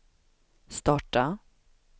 starta